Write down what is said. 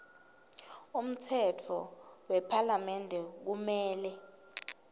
umtsetfo wephalamende kumele